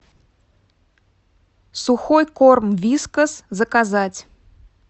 сухой корм вискас заказать